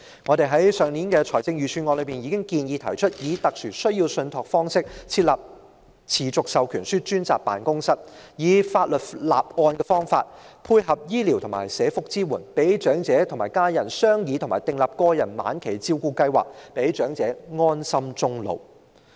在上年討論財政預算案時，我們已建議以"特殊需要信託"方式設立"持續授權書"專責辦公室，以法律立案的方法，配合醫療及社福支援，讓長者和家人商議及訂立個人晚期照顧計劃，讓長者安心終老。